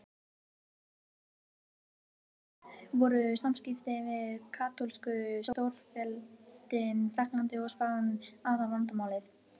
Í utanríkismálum voru samskiptin við katólsku stórveldin Frakkland og Spán aðalvandamálið.